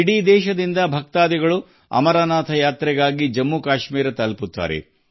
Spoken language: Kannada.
ಅಮರನಾಥ ಯಾತ್ರೆಗಾಗಿ ದೇಶಾದ್ಯಂತ ಭಕ್ತರು ಜಮ್ಮು ಕಾಶ್ಮೀರವನ್ನು ತಲುಪುತ್ತಾರೆ